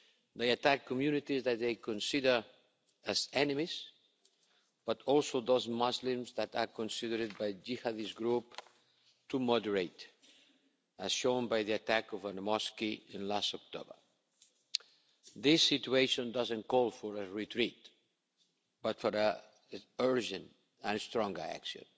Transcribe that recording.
They attack communities that they consider as enemies, but also those Muslims that are considered by Jihadist groups as too moderate, as shown by the attack on a mosque in October. This situation doesn't call for a retreat but for urgent and strong action.